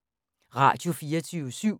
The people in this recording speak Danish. Radio24syv